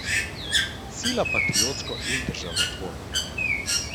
Sila patriotsko in državotvorno.